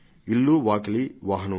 ఇల్లు వాకిలి వాహనం